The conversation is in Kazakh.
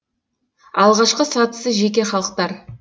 алғашқы сатысы жеке халықтар